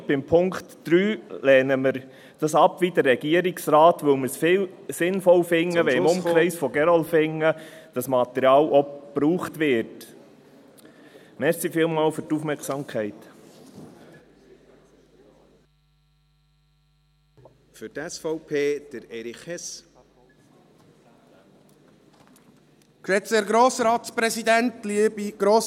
Den Punkt 3 lehnen wir ab, wie der Regierungsrat, weil wir es viel sinnvoller finden, … wenn dieses Material auch im Umkreis von Gerlafingen verwendet wird.